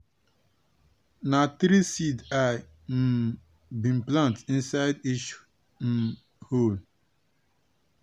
na three seed i um bin plant inside each um hole.